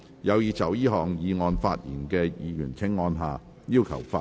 有意就這項議案發言的議員請按下"要求發言"按鈕。